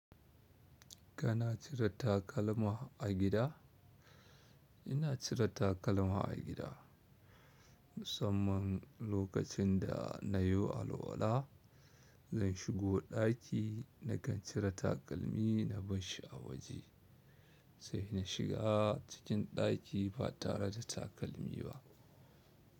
Kana cire takalma a gida? Ina cire takalma a gida, musamman lokacin da na yo alwala. Zan shigo ɗaki na kan cire takalmi na bashshi a waje sai na shiga cikin ɗaki ba tare da takalmi ba.